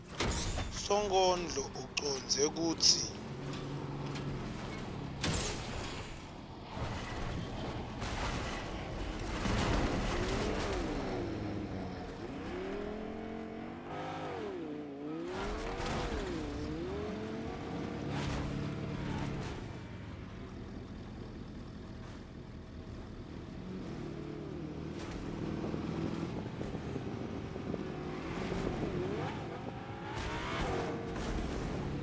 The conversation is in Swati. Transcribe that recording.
sonkondlo ucondze kutsini